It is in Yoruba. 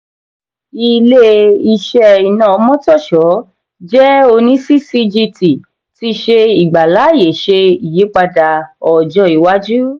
ilé-iṣẹ́ iná omotosho jẹ oní ccgt ti ṣe ìgbà láàyè ṣe iyípadà ọjọ iwájú.